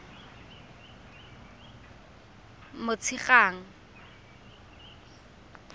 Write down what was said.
motshegang